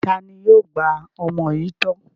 Ta ni yóò gba ọmọ yìí tọ́?